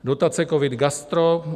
Dotace COVID - Gastro -